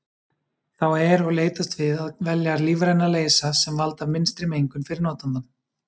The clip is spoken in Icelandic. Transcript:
Þá er og leitast við að velja lífræna leysa sem valda minnstri mengun fyrir notandann.